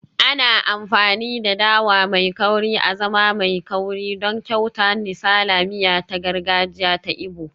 Ana amfani da dawa mai kauri azaman mai kauri don kyauta nsala, miya ta gargajiya ta Igbo